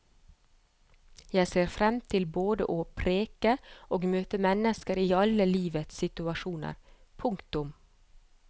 Jeg ser frem til både å preke og møte mennesker i alle livets situasjoner. punktum